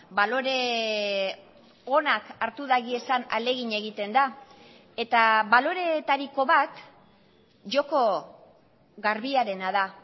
balore onak hartu daiezan ahalegin egiten da eta baloreetariko bat joko garbiarena da